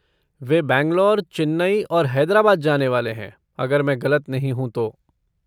वे बैंगलोर, चेन्नई और हैदराबाद जाने वाले हैं, अगर मैं ग़लत नहीं हूँ तो।